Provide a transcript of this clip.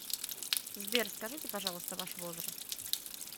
сбер скажите пожалуйста ваш возраст